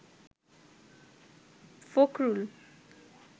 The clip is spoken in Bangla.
ফখরুল